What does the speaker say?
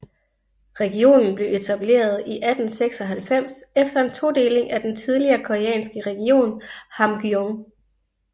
Regionen blev etableret i 1896 efter en todeling af den tidligere koreanske region Hamgyong